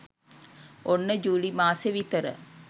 ඔන්න ජූලි මාසෙ විතර